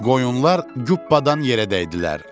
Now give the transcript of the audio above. Qoyunlar jupbadan yerə dəydilər.